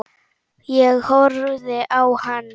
Ég horfði á hann.